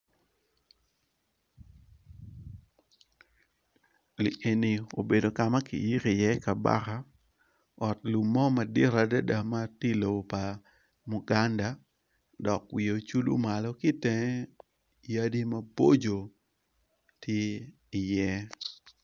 Li eni obedo ka ki yiko iye kabaka, ot lum mo madit adada ma tye i lobo pa muganda dok wiye ocudo malo ki itenge yadi maboco ti iye.